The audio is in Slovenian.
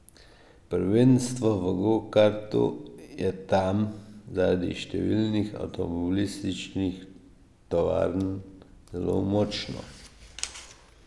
Prvenstvo v gokartu je tam zaradi številnih avtomobilističnih tovarn zelo močno.